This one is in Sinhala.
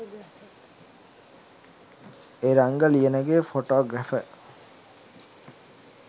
eranga liyanage photographer